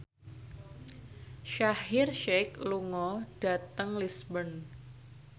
Shaheer Sheikh lunga dhateng Lisburn